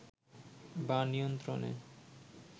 বা নিয়ন্ত্রণে